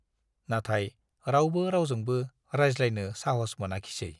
नाथाय रावबो रावजोंबो रायज्लायनो साहस मोनाखिसै।